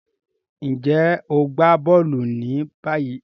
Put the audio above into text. Njé o n gbà bóòlù ní báyìí?